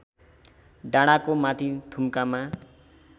डाँडाको माथि थुम्कामा